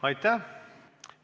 Aitäh!